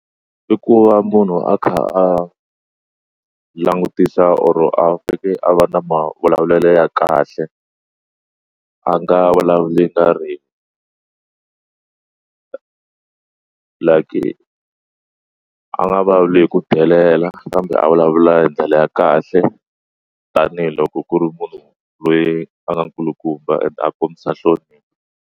I ku va munhu a kha a langutisa or a fika a va na mavulavulelo ya kahle a nga vulavuli like a nga vulavuli hi ku delela kambe a vulavula hi ndlela ya kahle tanihiloko ku ri munhu loyi a nga nkulukumba and a kombisa nhlonipho.